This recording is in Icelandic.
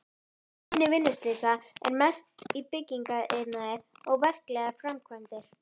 Tíðni vinnuslysa er mest í byggingariðnaði og við verklegar framkvæmdir.